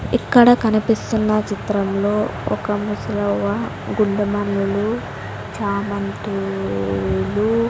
ఇక్కడ కనిపిస్తున్న చిత్రంలో ఒక ముసలవ్వ గుండు మల్లెలు చామంతులు.